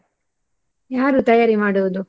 ಯಾರು ತಯಾರಿ ಮಾಡುವುದು?